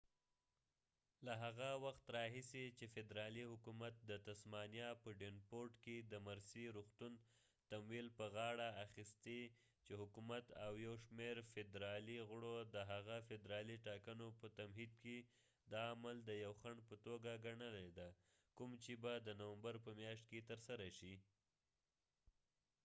له هغه وخت راهیسې چې فدرالي حکومت د تسمانیا په ډیونپورټ کې د مرسي روغتون تمویل په غاړه اخیستي چې حکومت او یو شمیر فدرالي غړو د هغه فدرالي ټاکنو په تمهيد کې دا عمل د یو خنډ په توګه ګنلی دی کوم چې به د نومبر په مياشت کې ترسره شي